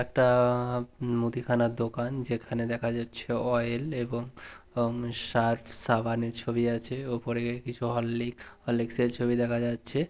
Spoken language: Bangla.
একটা- মুদি খানার দোকান যেখানে দেখা যাচ্ছে অয়েল এবং উম সার্ফ সাবানের ছবি আছে ওপরে কিছু হরলিক-হরলিক্স এর ছবি দেখা যাচ্ছে।